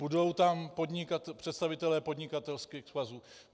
Budou tam představitelé podnikatelských svazů?